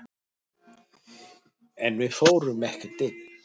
En við fórum ekkert inn.